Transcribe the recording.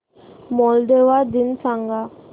Moldova दिन सांगा